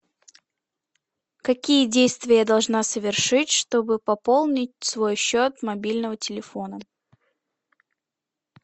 какие действия я должна совершить чтобы пополнить свой счет мобильного телефона